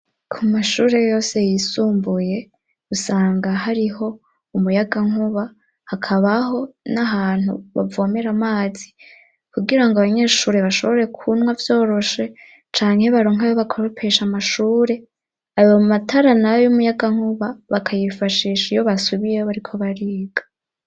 Ku mashure yose yisumbuye usanga hariho umuyagankuba hakabaho n'ahantu bavomera amazi kugirango abanyeshure bashobore kunywa vyoroshe canke baronke ayo bakoropesha amashure, ayo matara n'ayumuyagankuba bakayifashisha iyo basubiyeho bariko bariga.